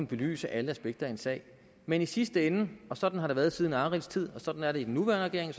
belyse alle aspekter i en sag men i sidste ende og sådan har det været siden arilds tid og sådan er det i den nuværende regering